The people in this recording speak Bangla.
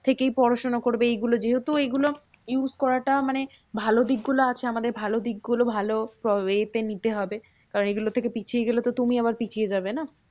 থেকেই পড়াশোনা করবে। এইগুলো যেহেতু এইগুলো use করাটা মানে ভালো দিকগুলো আছে। আমাদের ভালো দিকগুলো ভালো way তে নিতে হবে। কারণ এগুলো থেকে পিছিয়ে গেলে তো তুমি আবার পিছিয়ে যাবে না?